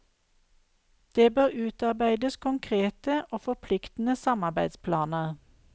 Det bør utarbeides konkrete og forpliktende samarbeidsplaner.